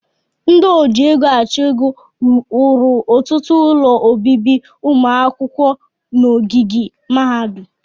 Ndị oji ego achụ ego wuru ọtụtụ ụlọ obibi ụmụ akwụkwọ n'ogige mahadum